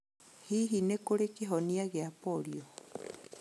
Hihi nĩ kũrĩ kĩhonia gĩa polio?